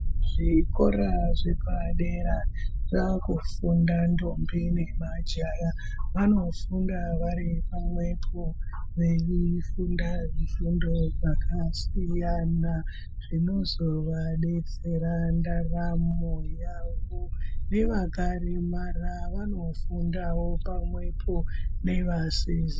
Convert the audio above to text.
Zvikora zvepadera zvakufunda ndombi nemajaya vakufunda vari pamwepo veifunda zvifundo zvakasiyana zvinozovadetsera ndaramo yavo nevakaremara vanofundawo pamwepo nevasizi.